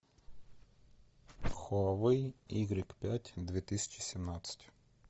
хуавей игрек пять две тысячи семнадцать